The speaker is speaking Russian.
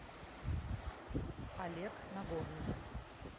олег нагорный